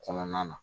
Kɔnɔna na